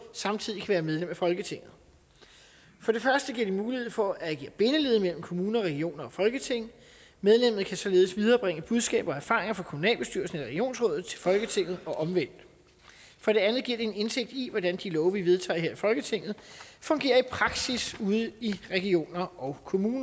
samtidig være medlem af folketinget for det første giver det mulighed for at agere bindeled mellem kommuner regioner og folketing medlemmet kan således viderebringe budskaber og erfaringer fra kommunalbestyrelsen eller regionsrådet til folketinget og omvendt for det andet giver det en indsigt i hvordan de love vi vedtager her i folketinget fungerer i praksis ude i regioner og kommuner